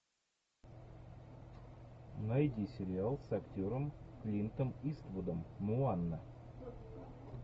найди сериал с актером клинтом иствудом моана